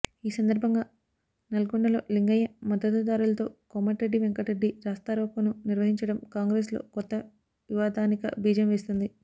ఈ సందర్భంగా నల్లగొండలో లింగయ్య మద్దతుదారులతో కోమటిరెట్టి వెంకటరెడ్డి రాస్తా రోకోను నర్వహించడం కాంగ్రెస్లో కొత్త వివాదానిక బీజం వేస్తోంది